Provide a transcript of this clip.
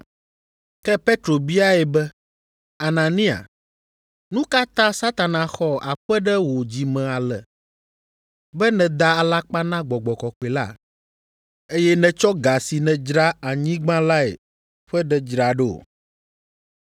Ke Petro biae be, “Anania, nu ka ta Satana xɔ aƒe ɖe wò dzi me ale, be nèda alakpa na Gbɔgbɔ kɔkɔe la, eye nètsɔ ga si nèdzra anyigba lae ƒe ɖe dzra ɖo?